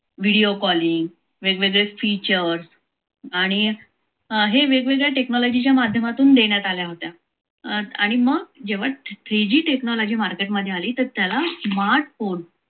video calling वेगवेगळे features आणि हे वेगवेगळे technology माध्यमातून देण्यात आलेल्या होत्या आणि मग जेव्हा three g tchonogy market आली त्याला तेव्हा smart phone